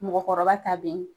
Mɔgɔkɔrɔba ta be yen.